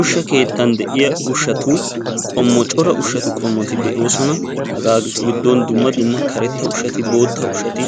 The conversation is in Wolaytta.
Ushsha keettan de'iya ushshatu qommuwa, cora ushsha qommoti de'oosona. Hagetu giddon dumma dumma karetta ushshati, bootta ushshati,